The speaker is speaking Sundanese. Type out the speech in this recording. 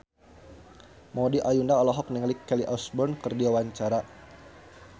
Maudy Ayunda olohok ningali Kelly Osbourne keur diwawancara